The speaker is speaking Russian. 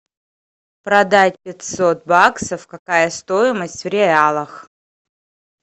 продать пятьсот баксов какая стоимость в реалах